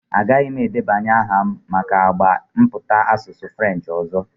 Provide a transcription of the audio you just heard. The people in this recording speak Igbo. Agaghị m edebanye aha m maka agba mmụta asụsụ Frenchị ọzọ.